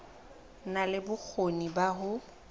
na le bokgoni ba ho